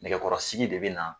Nɛgɛkɔrɔsigi de bɛ na